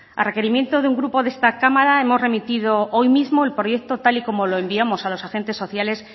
a requerimiento de un grupo de esta cámara hemos remitido hoy mismo el proyecto tal y como lo enviamos a los agentes sociales